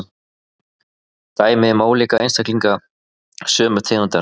Dæmi um ólíka einstaklinga sömu tegundar.